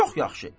Çox yaxşı.